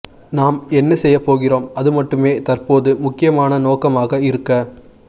நாம் என்ன செய்ய போகிறோம் அதுமட்டுமே தற்போது முக்கியமான நோக்கமாக இருக்க